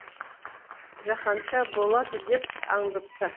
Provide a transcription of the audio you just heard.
жаһанша болады деп аңдыпты